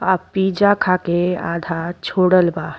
आ पिज़ा खा के आधा छोडल बा।